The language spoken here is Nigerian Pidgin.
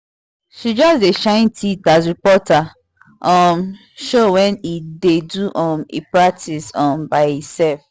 she just dey shine teeth as reporter um show when e dey do um e practice um by e sef